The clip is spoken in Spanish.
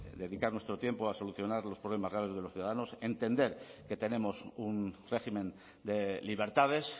dedicar nuestro tiempo a solucionar los problemas graves de los ciudadanos entender que tenemos un régimen de libertades